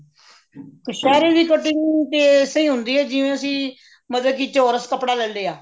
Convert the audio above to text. ਕਛੇਰੇ ਦੀ cutting ਤਾਂ ਏਸੇ ਹੀ ਹੁੰਦੀ ਹੈ ਜਿਵੇਂ ਅਸੀਂ ਮਤਲਬ ਕੇ ਚੋਰਸ ਕੱਪੜਾ ਲੈਲਿਆ